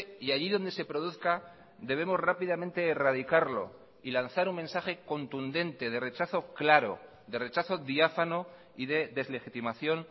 y allí donde se produzca debemos rápidamente erradicarlo y lanzar un mensaje contundente de rechazo claro de rechazo diáfano y de deslegitimación